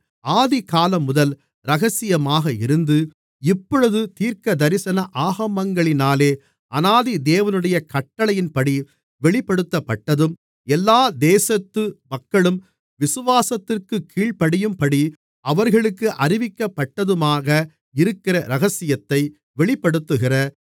ஆதிகாலம்முதல் இரகசியமாக இருந்து இப்பொழுது தீர்க்கதரிசன ஆகமங்களினாலே அநாதி தேவனுடைய கட்டளையின்படி வெளிப்படுத்தப்பட்டதும் எல்லா தேசத்து மக்களும் விசுவாசத்திற்குக் கீழ்ப்படியும்படி அவர்களுக்கு அறிவிக்கப்பட்டதுமாக இருக்கிற இரகசியத்தை வெளிப்படுத்துகிற